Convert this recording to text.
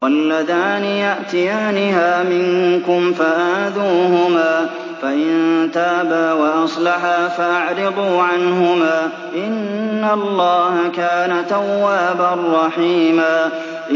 وَاللَّذَانِ يَأْتِيَانِهَا مِنكُمْ فَآذُوهُمَا ۖ فَإِن تَابَا وَأَصْلَحَا فَأَعْرِضُوا عَنْهُمَا ۗ إِنَّ اللَّهَ كَانَ تَوَّابًا رَّحِيمًا